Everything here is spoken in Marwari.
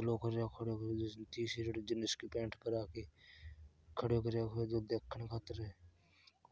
जीनस सी पेंट पेहन राखी खड़ो कर राख्यो जो देखन खातिर है